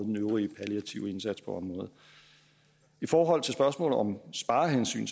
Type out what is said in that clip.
den øvrige palliative indsats på området i forhold til spørgsmålet om sparehensyn